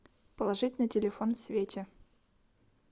положить на телефон свете